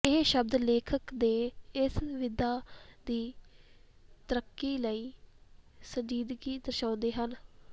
ਇਹ ਸ਼ਬਦ ਲੇਖਕ ਦੇ ਇਸ ਵਿਧਾ ਦੀ ਤਰੱਕੀ ਲਈ ਸੰਜੀਦਗੀ ਦਰਸਾਉਂਦੇ ਹਨ